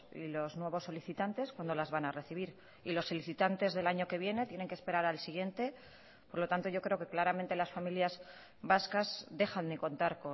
y los nuevos solicitantes cuándo las van a recibir y los solicitantes del año que viene tienen que esperar al siguiente por lo tanto yo creo que claramente las familias vascas dejan de contar